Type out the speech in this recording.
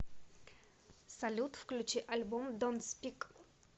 салют включи альбом донт спик